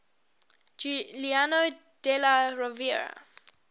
giuliano della rovere